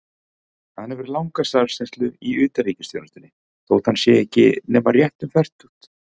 Hann hefur langa starfsreynslu í utanríkisþjónustunni, þótt hann sé ekki nema rétt um fertugt.